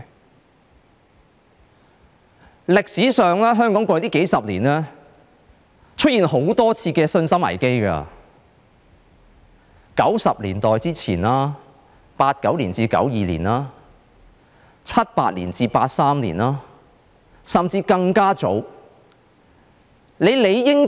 在歷史上，香港過去數十年曾出現多次信心危機，是在1990年代之前 ，1989 年至1992年、1978年至1983年，甚至是更早的時期。